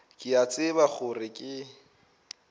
ke a tseba gore ke